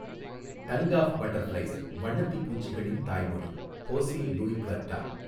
Tongue of butterflies வண்ணத்திப்பூச்சிகளின் தாய்மொழி Jose Luis Cuerda.